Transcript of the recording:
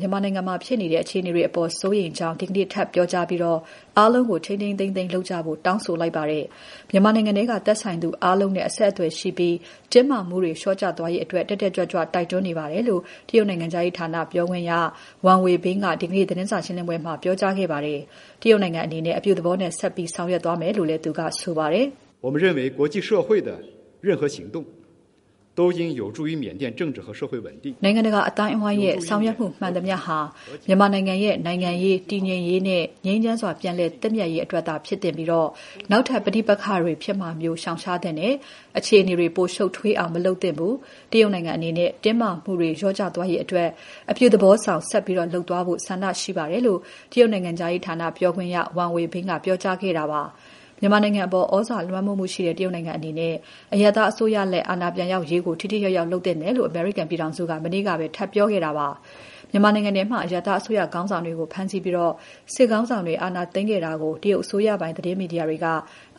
မြန်မာနိုင်ငံမှာဖြစ်နေတဲ့ အခြေအနေတွေအပေါ် စိုးရိမ်ကြောင်း တရုတ်နိုင်ငံက ဒီနေ့ ထပ်ပြောကြားပြီး အားလုံးကို ထိန်းထိန်းသိမ်းသိမ်းလုပ်ကြဖို့ တောင်းဆိုလိုက်ပါတယ်။ မြန်မာနိုင်ငံထဲက သက်ဆိုင်သူအားလုံးနဲ့ အဆက်အသွယ်ရှိပြီး တင်းမာမှုတွေ လေ ျာ့ကျသွားရေးအတွက် တက်တက်ကြွကြွ တိုက်တွန်းနေပါတယ်လို့ တရုတ်နိုင်ငံခြားရေးဌာန ပြောခွင့်ရ Wang Wenbin ကဒီနေ့ သတင်းစာရှင်းပွဲမှာ ပြောကြားသွားပါတယ်။ တရုတ်နိုင်ငံအနေနဲ့ အပြုသဘောနဲ့ ဆက်ပြီး ဆောင်ရွက်သွားမယ်လို့လည်း ပြောကြားခဲ့ပါတယ်။ "နိုင်ငံတကာအသိုင်းအဝိုင်းရဲ့ ဆောင်ရွက်မှုမှန်သမ ျှဟာ မြန်မာနိုင်ငံရဲ့ နိုင်ငံရေး၊ တည်ငြိမ်ရေးနဲ့ ငြိမ်းချမ်းစွာ ပြန်လည်သင့်မြတ်ရေးအတွက်သာ ဖြစ်သင့်ပြီး နောက်ထပ် ပဋိပက္ခတွေဖြစ်မှာမျိုး ရှောင်ရှားသင့်တယ်။ အခြေအနေတွေ ပိုရှုပ်ထွေးအောင် မလုပ်သင့်ဘူး။ တရုတ်နိုင်ငံအနေနဲ့ တင်းမာမှုတွေ လျော့သွားရေးအတွက် အပြုသဘောဆောင် ဆက်ပြီး လုပ်သွားဖို့ ဆန္ဒရှိပါတယ်။" လို့ တရုတ်နိုင်ငံခြားရေးဌာန ပြောခွင့်ရ Wang Wenbin ကပြောကြားသွားတာပါ။ မြန်မာအပေါ် သြဇာလွှမ်းမှုရှိတဲ့ တရုတ်အနေနဲ့ အရပ်သားအစိုးရလက် အာဏာပြန်ရောက်ရေးကို ထိထိရောက်ရောက် လုပ်သင့်တယ်လို့ အမေရိကန်ပြည်ထောင်စုက မနေ့ကပဲ ထပ်ပြောခဲ့တာပါ။ မြန်မာနိုင်ငံထဲမှာ အရပ်သားအစိုးရခေါင်းဆောင်တွေကို ဖမ်းဆီးပြီး စစ်ခေါင်းဆောင်တွေ အာဏာသိမ်းခဲ့တာကို တရုတ်အစိုးရပိုင် သတင်းမီဒီယာတွေက